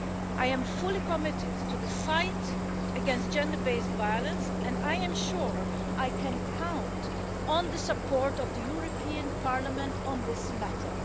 I am fully committed to the fight against gender based violence and I am sure I can count on the support of the European Parliament on this matter.